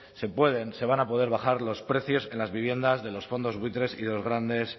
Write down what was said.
se pueden se van a poder bajar los precios en las viviendas de los fondos buitres y de los grandes